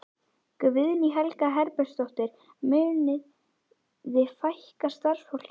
Guðný Helga Herbertsdóttir: Munið þið fækka starfsfólki?